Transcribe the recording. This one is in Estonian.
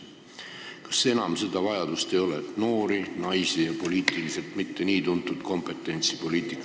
Kas enam ei ole vajadust tuua poliitikasse noori, naisi ja poliitiliselt mitte väga tuntud inimesi?